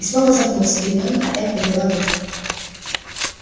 и снова запнулся гермиона опять подняла руку